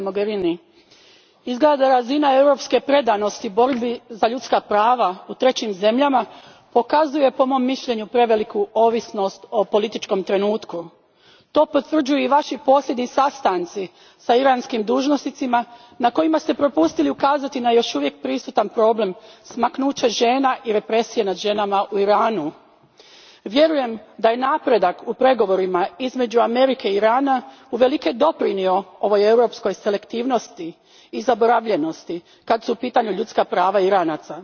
Gospodine predsjedniče, poštovana visoka predstavnice Mogherini, izgleda da razina europske predanosti borbi za ljudska prava u trećim zemljama pokazuje po mom mišljenju preveliku ovisnost o političkom trenutku. To potvrđuju i vaši posljednji sastanci s iranskim dužnosnicima na kojima ste propustili ukazati na još uvijek prisutan problem smaknuća žena i represije nad ženama u Iranu. Vjerujem da je napredak u pregovorima između Amerike i Irana uvelike doprinio ovoj europskoj selektivnosti i zaboravljivosti kada su u pitanju ljudska prava Iranaca.